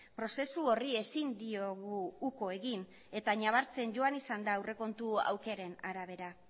prozesu horri ezin diogu uko egin eta nabartzen joan izan da aurrekontu aukeren arabera